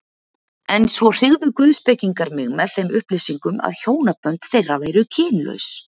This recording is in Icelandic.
En svo hryggðu guðspekingar mig með þeim upplýsingum, að hjónabönd þeirra væru kynlaus.